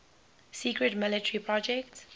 secret military project